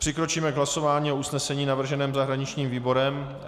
Přikročíme k hlasování o usnesení navrženém zahraničním výborem.